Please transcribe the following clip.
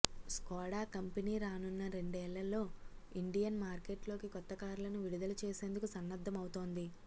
Skoda company రానున్న రెండేళ్లలో Indian మార్కెట్లోకి కొత్త కార్లను విడుదల చేసేందుకు సన్నద్దమవుతోంది